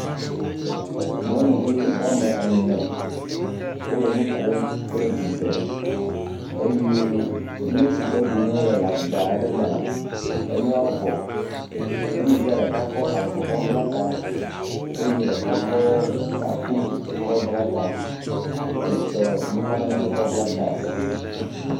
Nyɔnuvi wɔme ene wole nu kom kple dzidzɔ eye nu si ke ɖum wole le agba aɖe mea enua vɔ eye nyɔnuvia ɖeka kɔ avɔ kɔ bla ta eye ɖeka kɔ taku kɔ bla ta eye eve metsɔ nanekɔ kɔ bla ta o.